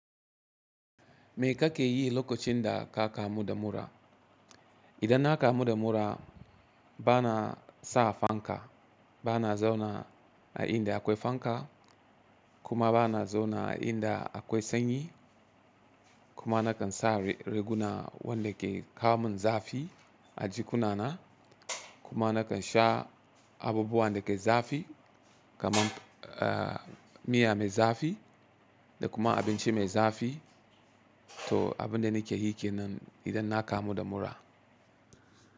Me ka ke yi lokacin da ka kamu da mura? Idan na kamu da mura bana sa fanka, bana zauna a inda akwai fanka kuma bana zauna a inda akwai sanyi kuma nakan sa riguna wanda ke kamun zafi a jikuna na kuma nakan sha abubuwan da ke zafi kaman miya mai zafi da kuma abinci mai zafi. To abin da nake yi ke nan idan na kamu da mura.